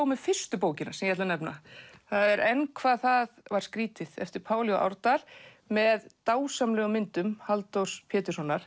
með fyrstu bókina sem ég ætla að nefna en hvað það var skrýtið eftir Pál j Árdal með dásamlegum myndum Halldór Péturssonar